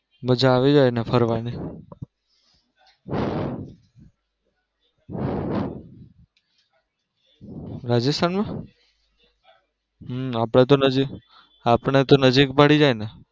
મજા આવી જાય ને ફરવા ની રાજસ્થાન માં હમ આપડે તો નજીક પડી જાય ને.